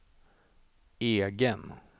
egen